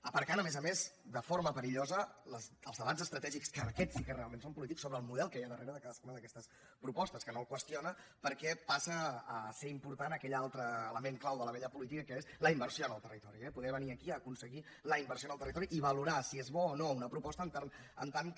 aparcant a més a més de forma perillosa els debats estratègics que aquests sí que realment són polítics sobre el model que hi ha darrere de cadascuna d’aquestes propostes que no el qüestiona perquè passa a ser important aquell altre element clau de la vella política que és la inversió en el territori eh poder venir aquí a aconseguir la inversió en el territori i valorar si és bona o no una proposta en tant que